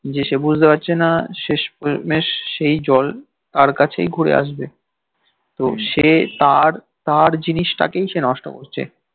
যে সে বুঝতে পারছে না শেষমেশ সেই জল তার কাছেই ঘুরে আসবে তো সে তার তার জিনিসটাকেই সে নষ্ট করছে